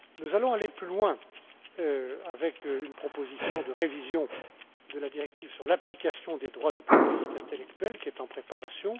Nous allons aller plus loin, avec une proposition de révision de la directive sur l'application des droits de propriété intellectuelle, qui est en préparation.